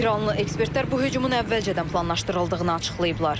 İranlı ekspertlər bu hücumun əvvəlcədən planlaşdırıldığını açıqlayıblar.